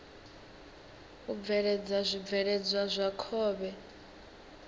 u bveledza zwibveledzwa zwa khovhe